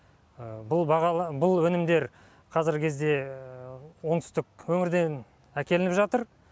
бұл бағала бұл өнімдер қазіргі кезде оңтүстік өңірден әкелініп жатыр